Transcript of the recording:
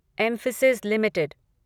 Mphasis limited